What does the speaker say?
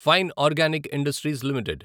fine organic industries limited